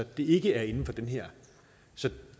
det ikke er inden for det her